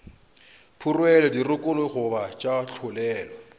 phurelwe dirokolo goba tša tlolelwa